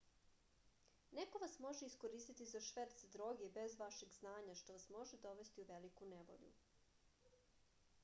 neko vas može iskoristiti za šverc droge bez vašeg znanja što vas može dovesti u veliku nevolju